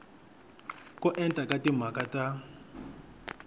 ko enta ka timhaka ta